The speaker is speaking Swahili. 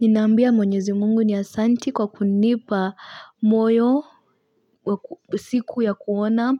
Ninaambia mwenyezi Mungu ni Asanti kwa kunipa moyo, siku ya kuona,